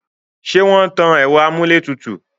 ṣé wọ́n tan ẹ̀rọ amúlétùtù?